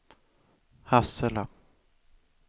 Hassela